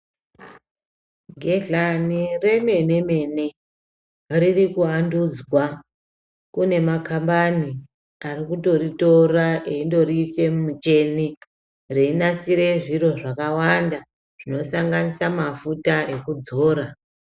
Gedhlani remene mene riri kuwandudzwa kune makambani ari kutoritora eindoriise mumuteni einasire zviro zvakawanda zvinosanganisira mafuta ekudzora.